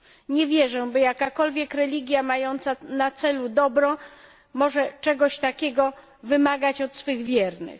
Nie wierzę, by jakakolwiek religia mająca na celu dobro mogła czegoś takiego wymagać od swych wiernych.